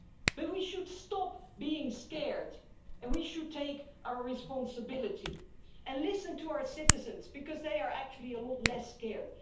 But we should stop being scared and we should take our responsibility and listen to our citizens, because they are actually a lot less scared.